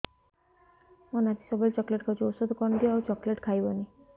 ମୋ ନାତି ସବୁବେଳେ ଚକଲେଟ ଖାଉଛି ଔଷଧ କଣ ଦିଅ ଆଉ ଚକଲେଟ ଖାଇବନି